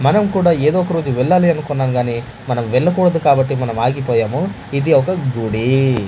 మనం కూడా ఏదో ఒక రోజు వెళ్ళాలి అనుకున్నాం గానీ మనం వెళ్లకూడదు కాబట్టి మనం ఆగిపోయాము ఇది ఒక గుడి.